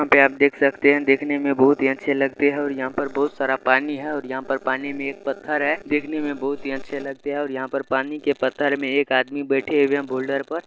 आप देख सकते हैं देखने में बहुत ही अच्छे लगते है और यहाँ पर बहुत सारा पानी हैं और यहाँ पर पानी में एक पत्थर हैं देखने में बहुत ही अच्छे लगते है और यहाँ पानी के पत्थर में एक आदमी बैठे हुए हैं बोल्डर पर।